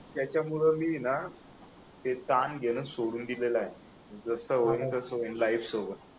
त्याच्यामुळे मी ना ते ताण घेणं सोडून दिलेल आहे जसं होईल तसं होईल लाइफ सोबत